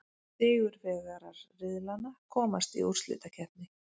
Sigurvegarar riðlanna komast í úrslitakeppni.